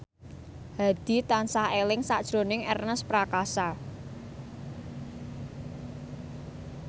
Hadi tansah eling sakjroning Ernest Prakasa